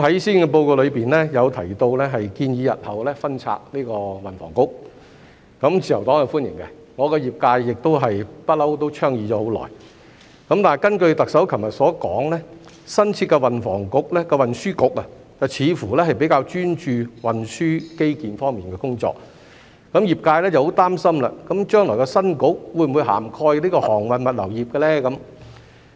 施政報告中提及建議日後分拆運輸及房屋局，自由黨是歡迎的，業界一向也倡議了很久；但根據特首昨日所說，新設的運輸局，似乎比較專注運輸基建方面的工作，業界很擔心將來的新局會否涵蓋航運物流業？